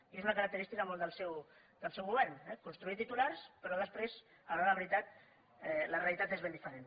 i és una característica molt del seu govern eh construir titulars però després a l’hora de la veritat la realitat és ben diferent